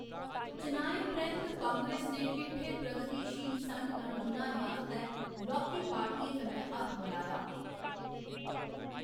चुनाएं परैंत, कांग्रेस ने किट्ठे प्रगतिशील संढ गंढ बनाने आस्तै लौह्‌‌‌की पार्टियें कन्नै हत्थ मलाया।